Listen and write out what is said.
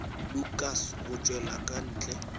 lukas go tšwela ka ntle